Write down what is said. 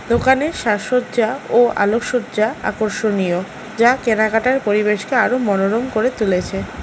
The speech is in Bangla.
দোকানের সাজসজ্জা ও আলকসজ্জা আকর্ষণীয় যা কেনাকাটার পরিবেশকে আরও মনোরম করে তুলেছে।